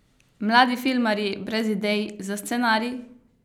Mladi filmarji brez idej za scenarij?